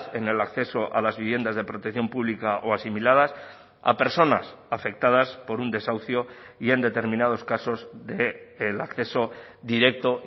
en el acceso a las viviendas de protección pública o asimiladas a personas afectadas por un desahucio y en determinados casos del acceso directo